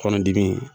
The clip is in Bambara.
Kɔnɔdimi